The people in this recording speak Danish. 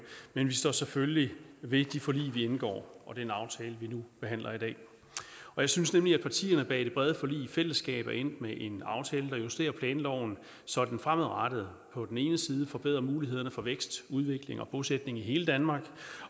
men vi står selvfølgelig ved de forlig vi indgår og den aftale vi nu behandler i dag jeg synes nemlig at partierne bag det brede forlig i fællesskab er endt med en aftale der justerer planloven så den fremadrettet på den ene side forbedrer mulighederne for vækst udvikling og bosætning i hele danmark